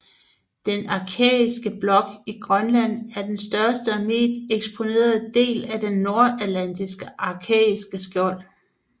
Den arkæiske blok i Grønland er den største og bedst eksponerede del af det nordatlantiske arkæiske skjold